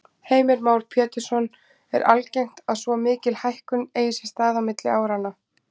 Heimir Már Pétursson: Er algengt að svo mikil hækkun eigi sér stað á milli áranna?